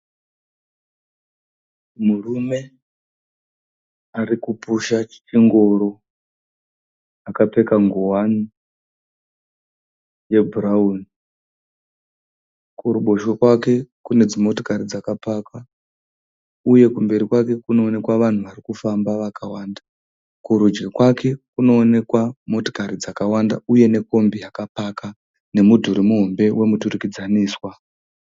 Murume ari kupusha chingoro akapfeka nguwani yebhurauni. Kuruboshwe kwake kune dzimotokari dzaka pakwa uye kumberi kwake kunoonekwa vanhu vari kufamba vakawanda. Kurudyi kwake kunoonekwa motikari dzakawanda uye nekombi yakapaka nemidhuri wemuturikidzaniswa.